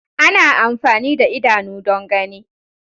Ana amfani da idanu don gani.